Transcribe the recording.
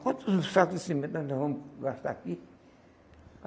Quantos sacos de cimento nós não vamos gastar aqui?